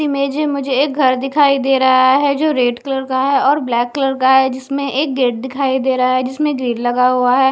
इस इमेज में मुझे एक घर दिखाई दे रहा है जो रेड कलर का है और ब्लैक कलर का है जिसमें एक गेट दिखाई दे रहा है जिसमें ग्रिल लगा हुआ है।